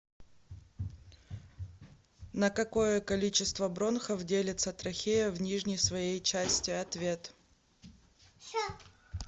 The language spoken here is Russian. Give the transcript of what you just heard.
на какое количество бронхов делится трахея в нижней своей части ответ